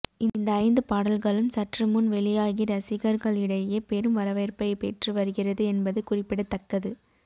இந்த ஐந்து பாடல்களும் சற்று முன் வெளியாகி ரசிகர்களிடையே பெரும் வரவேற்பை பெற்று வருகிறது என்பது குறிப்பிடத்தக்கது